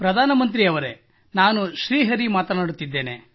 ಪ್ರಧಾನ ಮಂತ್ರಿ ಅವರೇ ನಾನು ಶ್ರೀ ಹರಿ ಮಾತನಾಡುತ್ತಿದ್ದೇನೆ